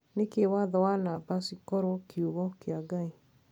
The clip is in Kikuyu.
Niki watho na namba cikorwo kiugo kia ngai?"